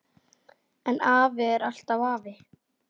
En afi er alltaf afi.